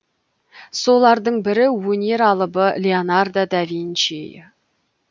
солардың бірі өнер алыбы леонардо да винчи